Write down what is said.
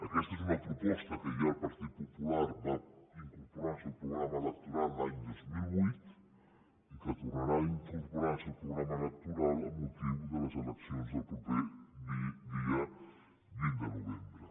aquesta és una proposta que ja el partit popular va incorporar en el seu programa electoral l’any dos mil vuit i que tornarà a incorporar en el seu programa electoral amb motiu de les eleccions del proper dia vint de novembre